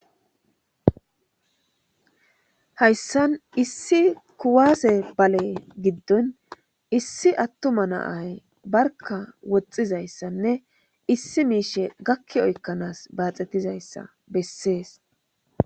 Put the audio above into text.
Hayssan issi kuwaase bale giddon issi attuma naay barka woxxizayssanne issi miishe gakki oykkanaas baaxettizayssa bessees